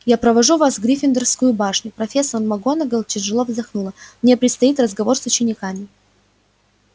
я провожу вас в гриффиндорскую башню профессор макгонагалл тяжело вздохнула мне предстоит разговор с учениками